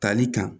Tali kan